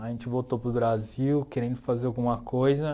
A gente voltou para o Brasil querendo fazer alguma coisa.